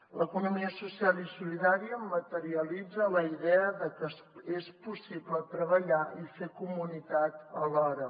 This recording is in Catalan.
l’economia social i solidària materialitza la idea de que és possible treballar i fer comunitat alhora